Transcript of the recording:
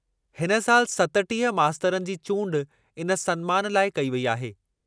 हिन सालि सतटीह मास्तरनि जी चूंड इन सन्मानु लाइ कई वेई अहे।